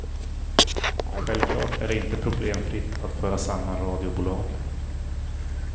Självklart är det inte problemfritt att föra samman radiobolagen.